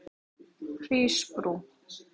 Hrísbrú